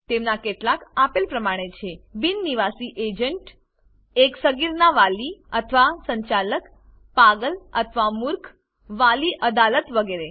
તેમાંનાં કેટલાક આપેલ પ્રમાણે છે બિન નિવાસી એજન્ટ એક સગીરનાં વાલી અથવા સંચાલક પાગલ અથવા મૂર્ખ વાલી અદાલત વગેરે